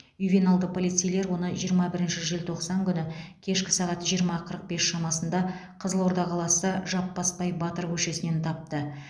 ювеналды полицейлер оны жиырма бірінші желтоқсан күні кешкі сағат жиырма қырық бес шамасында қызылорда қаласы жаппасбай батыр көшесінен тапты